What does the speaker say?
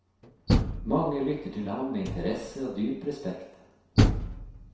Mange lytter til ham med interesse og dyp respekt.